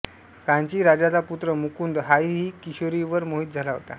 कांची राजाचा पुत्र मुकुंद हाही किशोरीवर मोहित झाला होता